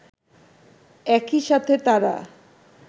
একইসাথে তারা